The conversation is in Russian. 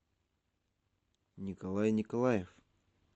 николай николаев